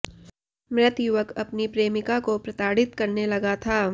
मृत युवक अपनी प्रेमिका को प्रताड़ित करने लगा था